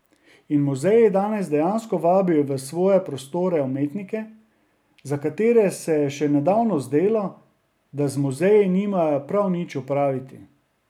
In muzeji danes dejansko vabijo v svoje prostore umetnike, za katere se je še nedavno zdelo, da z muzeji nimajo prav nič opraviti.